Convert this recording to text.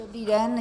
Dobrý den.